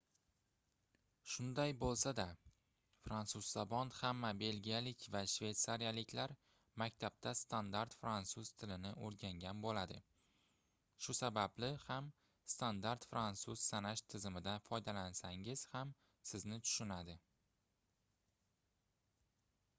shunday boʻlsada fransuz zabon hamma belgiyalik va shveytsariyaliklar maktabda standart fransuz tilini oʻrgangan boʻladi shu sababli ham standart fransuz sanash tizimidan foydalansangiz ham sizni tushunadi